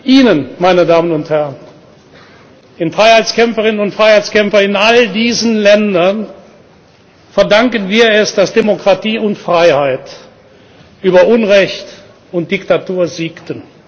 Mut. Ihnen, meine Damen und Herren, den Freiheitskämpferinnen und Freiheitskämpfern in all diesen Ländern, verdanken wir es, dass Demokratie und Freiheit über Unrecht und Diktatur siegten.